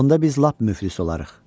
Onda biz lap müflis olarıq.